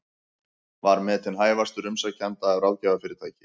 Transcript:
Var metinn hæfastur umsækjenda af ráðgjafarfyrirtæki